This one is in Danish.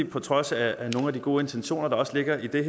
på trods af nogle af de gode intentioner der også ligger i det